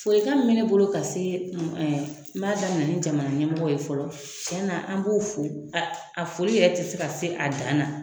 Folikan mun be ne bolo ka se, n b'a daminɛ ni jamana ɲɛmɔgɔw ye fɔlɔ. Tiɲɛ na an b'u fo a foli yɛrɛ te se ka se a dan na